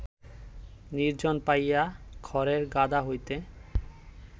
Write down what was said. নির্জন পাইয়া খড়ের গাদা হইতে